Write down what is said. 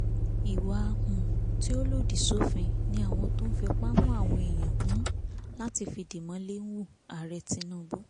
ìwà um tí ò lòdì sófin ni àwọn tó ń fipá mú àwọn èèyàn um láti fìdí mọ́lẹ̀ ń hu ààrẹ tinubu